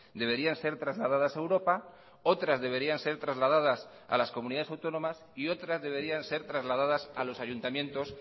deberían ser trasladadas a europa otras deberían ser trasladadas a las comunidades autónomas y otras deberían ser trasladadas a los ayuntamientos